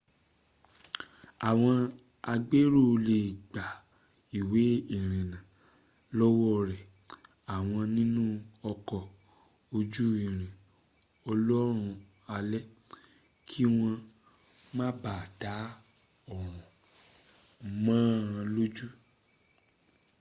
àwọn agbèrò lè gba ìwé ìrìnnà lọ́wọ́ rẹ àwọn nínú ọkọ̀ ojú irin olóorun alẹ̀ kí wọ́n má ba à dá oorun mọ́ ọ lójú